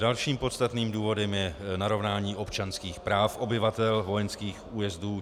Dalším podstatným důvodem je narovnání občanských práv obyvatel vojenských újezdů.